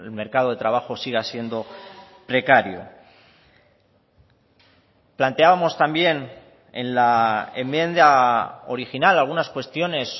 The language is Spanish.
mercado de trabajo siga siendo precario planteábamos también en la enmienda original algunas cuestiones